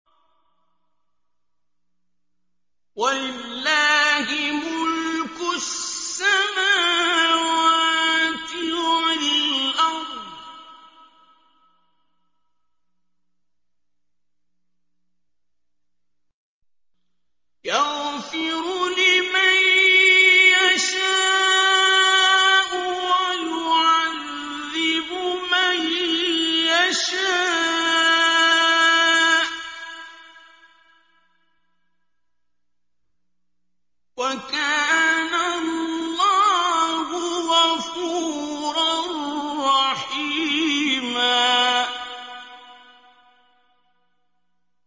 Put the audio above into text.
وَلِلَّهِ مُلْكُ السَّمَاوَاتِ وَالْأَرْضِ ۚ يَغْفِرُ لِمَن يَشَاءُ وَيُعَذِّبُ مَن يَشَاءُ ۚ وَكَانَ اللَّهُ غَفُورًا رَّحِيمًا